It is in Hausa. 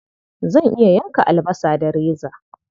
Zan iya yanka albasa da reza.